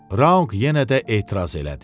Raunq yenə də etiraz elədi.